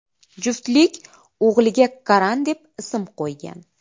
Juftlik o‘g‘liga Karan deb ism qo‘ygan.